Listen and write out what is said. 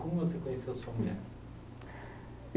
Como você conheceu a sua mulher?